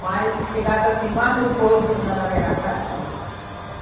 Mas chegasse assim, mais no porto do da navegação era fundo.